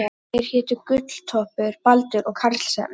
Þeir hétu Gulltoppur, Baldur og Karlsefni.